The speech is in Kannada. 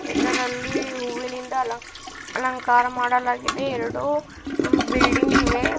ಇದರಲ್ಲಿ ಹೂವಿನಿಂದ ಅಲಂಕ್ ಅಲಂಕಾರ ಮಾಡಲಾಗಿದೆ ಎರಡು ಬಿಲ್ಡಿಂಗ್ ಇವೆ.